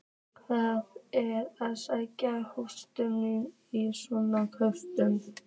Það er að segja, útrásarvíkingarnir svokölluðu?